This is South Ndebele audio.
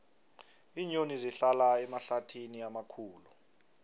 iinyoni zihlala emahlathini amakhulu